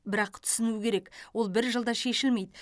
бірақ түсіну керек ол бір жылда шешілмейді